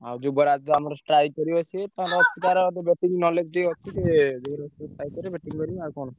ଆଉ ଯୁବରାଜ ର ସ୍ଟ୍ରାଇକ କରିବ ଆମର ସିଏ ଟାର ଟିକେ batting knowledge ଟିକେ ଅଛି ।